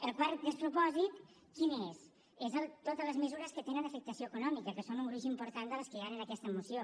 el quart despropòsit quin és són totes les mesures que tenen afectació econòmica que són un gruix important de les que hi han en aquesta moció